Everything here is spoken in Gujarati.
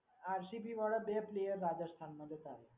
આરસીબી વાળાએ બે પ્લેયર રાજસ્થાનના લીધા.